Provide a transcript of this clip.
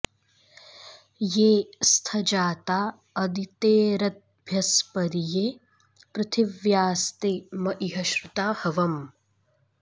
ये स्थ जाता अदितेरद्भ्यस्परि ये पृथिव्यास्ते म इह श्रुता हवम्